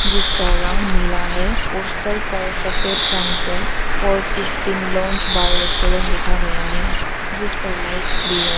इसका रंग नीला है पोस्टर पर सफेद रंग से four fifteen lounge bar restaurant लिखा गया है जिस पर लाइट्स भी है।